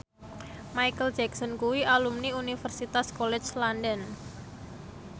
Micheal Jackson kuwi alumni Universitas College London